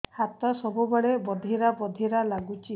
ହାତ ସବୁବେଳେ ବଧିରା ବଧିରା ଲାଗୁଚି